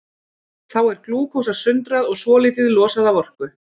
Þá er glúkósa sundrað og svolítið losað af orku.